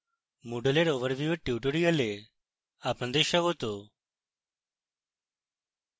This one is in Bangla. overview of moodle এর tutorial আপনাদের স্বাগত